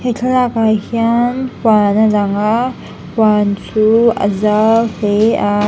he thlalakah hian huan a lang a huan chu a zau hle a.